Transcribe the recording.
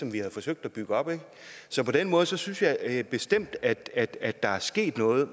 vi havde forsøgt at bygge op så på den måde synes synes jeg jeg bestemt at at der er sket noget